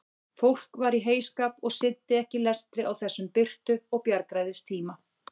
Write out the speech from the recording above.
Fólk var í heyskap og sinnti ekki lestri á þessum birtu og bjargræðistíma.